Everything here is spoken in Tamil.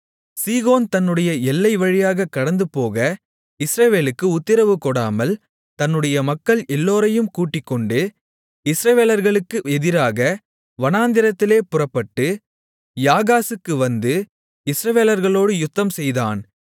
சீகோன் தன்னுடைய எல்லை வழியாகக் கடந்துபோக இஸ்ரவேலுக்கு உத்திரவு கொடாமல் தன்னுடைய மக்கள் எல்லோரையும் கூட்டிக்கொண்டு இஸ்ரவேலர்களுக்கு எதிராக வனாந்திரத்திலே புறப்பட்டு யாகாசுக்கு வந்து இஸ்ரவேலர்களோடு யுத்தம்செய்தான்